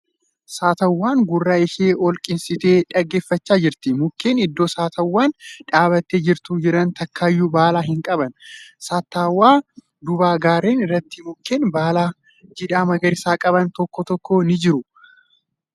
Saattawwaan gurra ishee ol qeensitee dhaggeeffachaa jirti. Mukkeen iddoo saattawwaan dhaabbattee jirtu jiran takkayyuu baala hin qaban. Saattawwaa duuba gaarreen irratti mukkeen baala jiidhaa magariisa qaban tokko tokko ni jiru.